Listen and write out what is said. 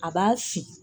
A b'a fin